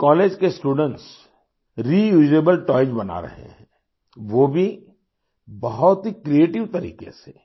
इस कॉलेज के students reusable toys बना रहे हैं वो भी बहुत ही क्रिएटिव तरीके से